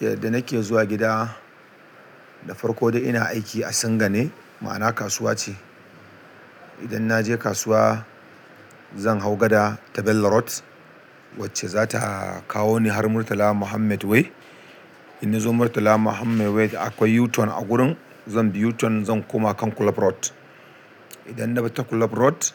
Yadda nake zuwa gida da farko ina aiki a Singa ne, ma'ana kasuwa ce. Idan na je kasuwa zan hau gada ta Bello road wacce za ta kawo ni har Murtala Muhammed way. Inna zo murtal muhammad wsu akwai u turn a wurin zanbi yu ton zan koma kan club road idan na bi ta club road,